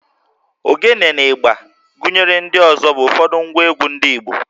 Ogene na ịgbà gụnyere ndị ọzọ bụ ụfọdụ ngwa egwú ndị Igbo